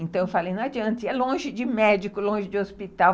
Então eu falei, não adianta, é longe de médico, longe de hospital.